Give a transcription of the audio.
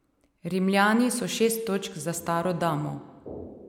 Rimljani so šest točk za staro damo.